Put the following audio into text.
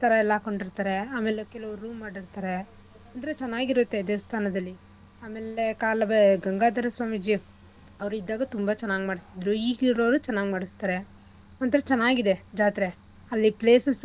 ಎಲ್ಲಾ ಹಾಕೊಂಡ್ ಇರ್ತಾರೆ ಆಮೇಲೆ ಕೆಲವ್ರು room ಮಾಡಿರ್ತಾರೆ ಅಂದ್ರೆ ಚೆನ್ನಾಗಿ ಇರುತ್ತೆ ದೇವಸ್ಥಾದಲ್ಲಿ ಅಮೇಲೆ ಕಾಲುವೆ ಗಂಗಾಧರ ಸ್ವಾಮೀಜಿ ಅವ್ರ ಇದ್ದಾಗ ತುಂಬಾ ಚೆನ್ನಾಗ್ ಮಾಡಸ್ತಿದ್ರು ಈಗ ಇರೋರು ಚೆನ್ನಾಗ್ ಮಾಡಸ್ತಾರೆ ಒಂಥರ ಚೆನ್ನಾಗಿದೆ ಜಾತ್ರೆ.